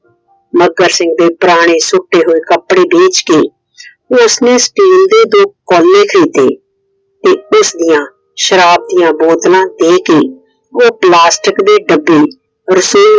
ਮੱਘਰ ਸਿੰਘ ਦੇ ਪੁਰਾਣੇ ਸੁੱਟੇ ਹੋਏ ਕੱਪੜੇ ਵੇਚ ਕੇ ਉਸਨੇ Steel ਦੇ ਦੋ ਕੋਲੇ ਖਰੀਦੇ। ਤੇ ਉਸ ਦੀਆ ਸ਼ਰਾਬ ਦੀਆ ਬੋਤਲਾਂ ਦੇ ਕੇ ਉਹ Plastic ਦੇ ਡੱਬੇ रसोई